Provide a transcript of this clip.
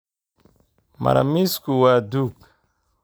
Maro-miisku waa duug.